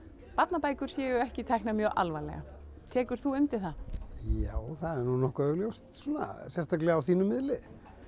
barnabækur séu ekki teknar mjög alvarlega tekur þú undir það já það er nú nokkuð augljóst sko sérstaklega á þínum miðli